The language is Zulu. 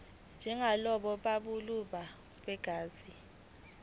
njengalabo bobuhlobo begazi